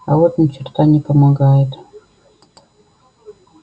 а вот ни черта не помогает